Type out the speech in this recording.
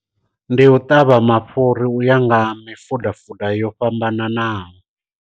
Ndi u ṱavha mafhuri u ya nga mifuda fuda yo fhambananaho.